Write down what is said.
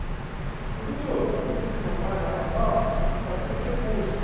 Ô, doutor, tá surgindo uma vaga lá, tal, para ser preposto.